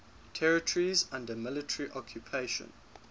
territories under military occupation